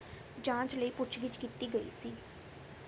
ਜਾਂਚ ਲਈ ਪੁੱਛ-ਗਿੱਛ ਕੀਤੀ ਗਈ ਸੀ।